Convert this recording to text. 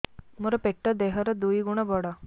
ମୋର ପେଟ ଦେହ ର ଦୁଇ ଗୁଣ ବଡ